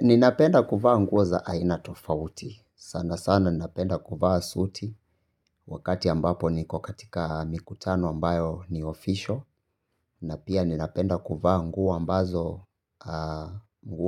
Ninapenda kuvaa nguo za aina tofauti. Sana sana napenda kuvaa suti wakati ambapo niko katika mikutano ambayo ni official na pia ninapenda kuvaa nguo